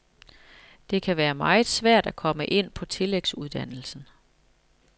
Det kan være meget svært at komme ind på tillægsuddannelsen.